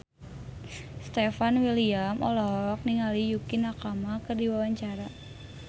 Stefan William olohok ningali Yukie Nakama keur diwawancara